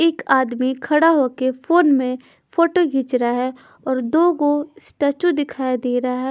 एक आदमी खड़ा होके फोन में फोटो खींच रहा है और दो को स्टैच्यू दिखाई दे रहा है।